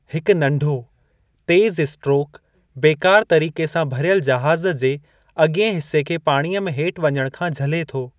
हिकु नंढो, तेज़ स्ट्रोक बेकार तरीक़े सां भरियलु जहाज़ जे अॻियें हिस्से खे पाणीअ में हेठि वञणु खां झले थो।